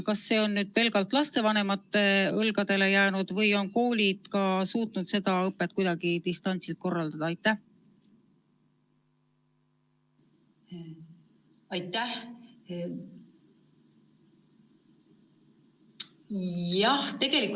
Kas see on nüüd pelgalt lastevanemate õlgadele jäänud või on koolid suutnud ka seda õpet kuidagi distantsilt korraldada?